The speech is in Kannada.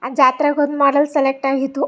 ಆ ಜಾತ್ರೆಗೆ ಹೋದ್ ಮೇಲೆ ಸೆಲೆಕ್ಟ್ ಆಗಿತ್ತು.